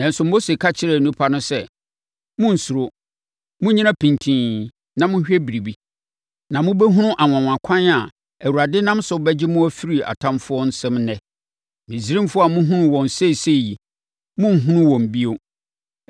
Nanso, Mose ka kyerɛɛ nnipa no sɛ, “Monnsuro. Monnyina pintinn na monhwɛ biribi. Na mobɛhunu anwanwakwan a Awurade nam so bɛgye mo afiri atamfoɔ nsam ɛnnɛ. Misraimfoɔ a mohunu wɔn seesei yi, morenhunu wɔn bio.